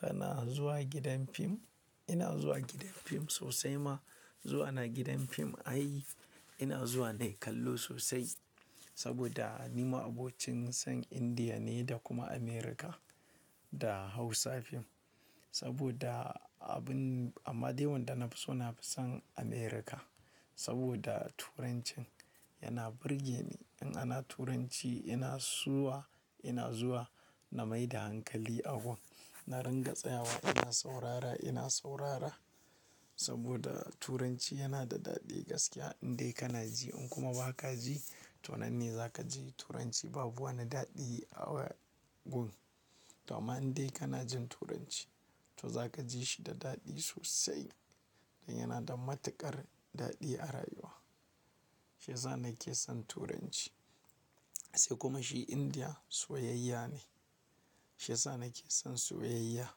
Kana zuwa gidan fim? Ina zuwa gidan fim sosai ma. Zuwa na gidan fim ai ina zuwa nayi kallo sosai saboda ni ma'abocin san Indiya ne da kuma Amurka da Hausa fim. Saboda abun amma dai wanda nafi so nafi son Amurka saboda Turancin yana burge ni. In ana Turanci ina zuwa, ina zuwa na maida hankali a gun. Na ringa tsayawa ina saurara, ina saurara saboda Turanci yana da daɗi gaskiya indai kana ji in kuma ba ka ji to nan ne za ka ji Turanci babu wani daɗi a wa gun. To amma in dai kana jin Turanci to za ka ji shi da daɗi sosai dan yana da matuƙar daɗi a rayuwa. Shi yasa nake son Turanci. Sai kuma shi Indiya soyayya ne. Shi yasa nake son soyayya,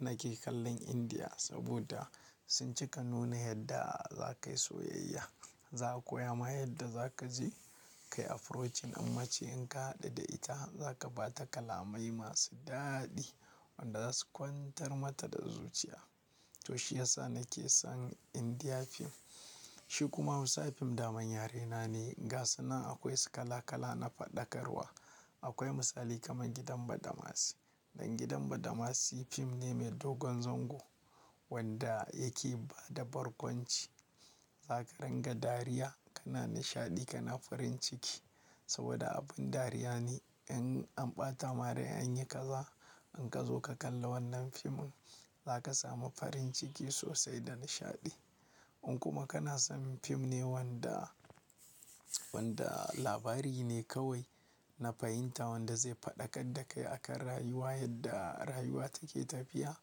na ke kallon Indiya saboda sun cika nuna yadda za ka yi soyayya. Za a koya ma yadda za ka je ka yi approaching mace in ka haɗu da ita za ka ba ta kalamai masu daɗi wanda za su kwantar mata da zuciya. To shi ya sa nake son Indian fim. Shi kuma Hausa fim daman yarena ne. Gasunan akwai su kala kala na faɗakarwa. Akwai misali kamar gidan badamasi. Dan gidan badamasi fim ne mai dogon zango wanda yake bada barkwanci. Za ka ringa dariya kana nishaɗi kana farin ciki saboda abin dariya ne in an ɓata ma rai an yi kaza. In ka zo ka kalla wannan fimin za ka samu farin ciki sosai da nishaɗi. In kuma kana son fim ne wanda, wanda labari ne kawai na fahimta wanda zai faɗakar da kai akan rayuwa yadda rayuwa take tafiya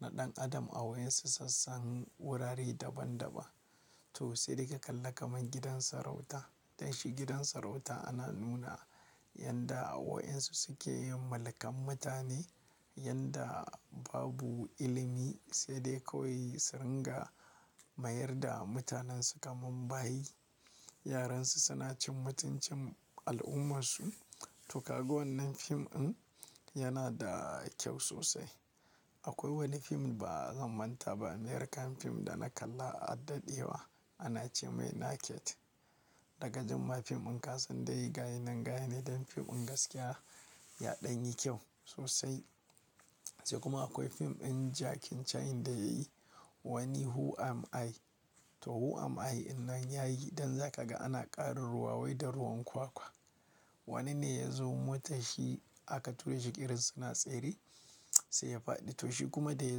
na ɗan adam a wayansu sassan wurare daban daban. To sai dai ka kalla kamar gidan sarauta. Dan shi gidan sarauta ana nuna yanda wayansu suke yin mulkan mutane, yanda babu ilimi sai dai kawai su ringa mayar da mutanensu kaman bayi. Yaran su suna cin mutuncin al'umarsu. To ka ga wannan fim ɗin yana da kyau sosai. Akwai wani fim ba zan manta ba American film da na kalla a daɗewa ana ce mai Naked. Dagajin ma fim ɗin kasan dai gayi nan gayinan dan fim ɗin gaskiya yaɗan yi kyau sosai. Sai kuma akwai fim ɗin Jackie Chan da yayi wani "Who Am I". To Who Am I in nan yayi dan za ka ga ana ƙarin ruwa wai da ruwan kwakwa. Wani ne ya zo motar shi aka ture shi irin suna tsere sai ya faɗi. To shi kuma da ya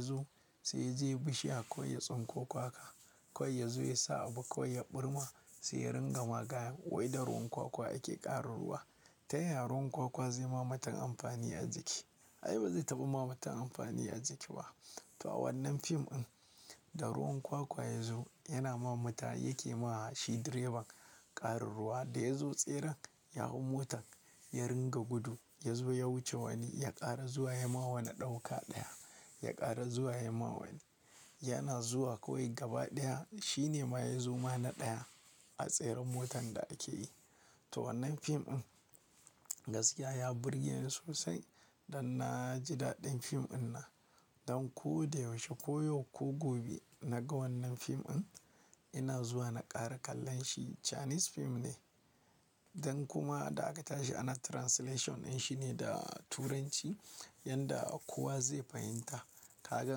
zo sai ya je bishiya kawai ya tsinko kwakwa kawai yazo ya sa abu kawai ya ɓirma sai ya ringa magayan wai da ruwan kwakwa ake ƙara ruwa. Ta yaya ruwan kwakwa zai ma mutun amfani a jiki? Ai bazai taba ma mutun amfani a jiki ba. To a wannan fim ɗin da ruwan kwakwa ya zo yana ma mata yake ma shi direba ƙarin ruwa. Da ya zo tseren ya hau motar ya ringa gudu ya zo ya wuce wani ya ƙara zuwa ya ma wani ɗauka ɗaya ya ƙara zuwa ya ma wani. Yana zuwa kawai gaba ɗaya shi ne ma ya zo ma na ɗaya a tseren motan da ake yi. To wannan fim ɗin gaskiya ya burge ni sosai dan na ji daɗin fim ɗin nan. Dan ko da yaushe ko yau ko gobe naga wannan fim ɗin ina zuwa na ƙara kallon shi Chinese fim ne. Dan kuma da aka tashi ana translation ɗin shine da Turanci yanda kowa zai fahimta. Kaga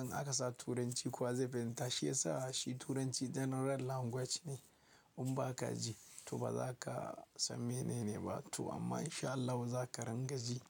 in aka sa Turanci kowa zai fahimta shi yasa shi Turanci general language ne. In ba ka ji to ba za ka san mene ne ba to amma in sha Allahu za ka ringaji.